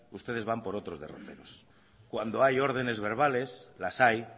ustedes van por otros derroteros cuando hay órdenes verbales las hay